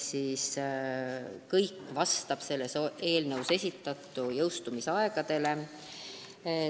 Kõik vastab eelnõus esitatud jõustumisaegadele.